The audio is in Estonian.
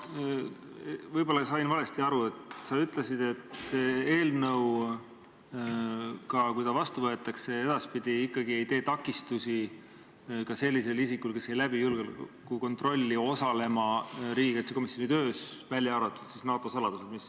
Ma sain võib-olla valesti aru, aga sa ütlesid, et see eelnõu, isegi kui ta vastu võetakse, ei takista edaspidi ikkagi ka sellist isikut, kes julgeolekukontrolli ei läbi, osalemast riigikaitsekomisjoni töös, välja arvatud NATO saladused.